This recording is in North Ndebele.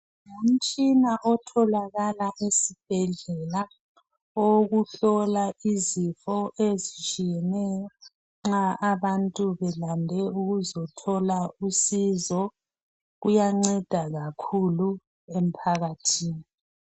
Ngumtshina otholakala esibhedlela, owokuhlola izifo ezitshiyeneyo nxa abantu belande ukuzothola usizo. Kuyanceda kakhulu umphakathi.